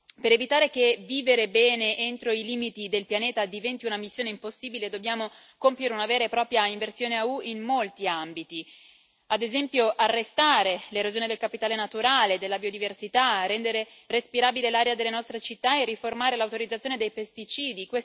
Per evitare che vivere bene entro i limiti del pianeta diventi una missione impossibile, dobbiamo compiere una vera e propria inversione a U in molti ambiti ad esempio, arrestare l'erosione del capitale naturale e della biodiversità, rendere respirabile l'aria delle nostre città e riformare l'autorizzazione dei pesticidi.